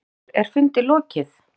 Höskuldur, er fundi lokið?